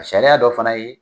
Sariya dɔ fana ye.